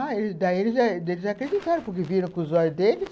Ah, daí eles acreditaram, porque viram com os olhos deles.